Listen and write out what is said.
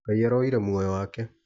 Ngai aroyire muoyo wake.